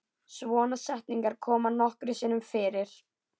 Svona setningar koma nokkrum sinnum fyrir.